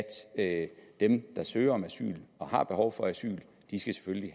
at dem der søger om asyl og har behov for asyl selvfølgelig